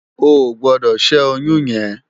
Óogbòdò ṣè óyùn yèn